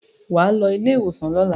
Wà á lọ ilé-ìwòsàn lọ́la.